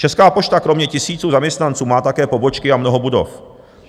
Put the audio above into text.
Česká pošta kromě tisíců zaměstnanců má také pobočky a mnoho budov.